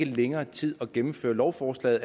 længere tid at gennemføre lovforslaget